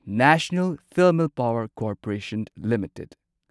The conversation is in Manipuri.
national thermal power corporation limited